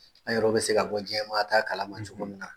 An yɛrɛw bɛ se ka bɔ diɲɛmaa ta kalama cogo min na.